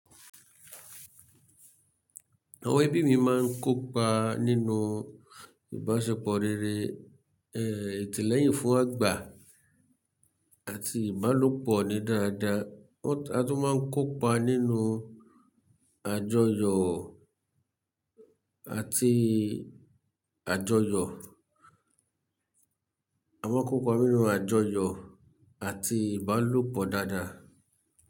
Àwọn ẹbí mi máa ń kópa nínú ìbáṣepọ̀ rere, ẹ́h, ìtìlẹ́yìn fún àgbà àti ìbálòpọ̀ ní dáadáa. Wọ́n, a tún máa ń kópa nínú àjọyọ̀ àti àjọyọ̀, à maa n kópa nínú àjọyọ̀ àti ìbálòpọ̀ dáadáa.